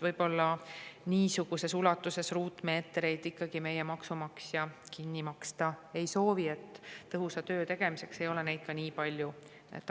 Võib-olla niisuguses ulatuses ruutmeetreid ikkagi meie maksumaksja kinni maksta ei soovi, tõhusa töö tegemiseks ei ole neid nii palju